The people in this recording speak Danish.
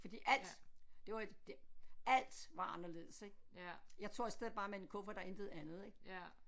Fordi alt det var det alt var anderledes ik jeg tog af sted bare med en kuffert og intet andet ik